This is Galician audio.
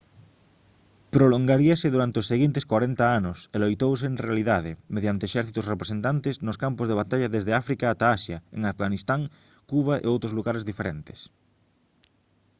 prolongaríase durante os seguintes corenta anos e loitouse en realidade mediante exércitos representantes nos campos de batalla desde áfrica ata asia en afganistán cuba e outros lugares diferentes